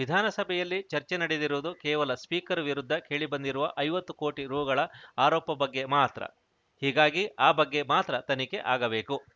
ವಿಧಾನಸಭೆಯಲ್ಲಿ ಚರ್ಚೆ ನಡೆದಿರುವುದು ಕೇವಲ ಸ್ಪೀಕರ್‌ ವಿರುದ್ಧ ಕೇಳಿಬಂದಿರುವ ಐವತ್ತು ಕೋಟಿ ರುಗಳ ಆರೋಪ ಬಗ್ಗೆ ಮಾತ್ರ ಹೀಗಾಗಿ ಆ ಬಗ್ಗೆ ಮಾತ್ರ ತನಿಖೆ ಆಗಬೇಕು